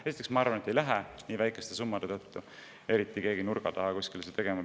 Esiteks, ma arvan, et nii väikeste summade tõttu ei lähe keegi kuskile nurga taha seda tegema.